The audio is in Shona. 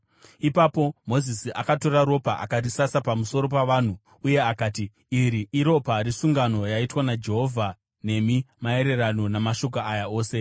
Ipapo Mozisi akatora ropa, akarisasa pamusoro pavanhu uye akati, “Iri iropa resungano yaitwa naJehovha nemi maererano namashoko aya ose.”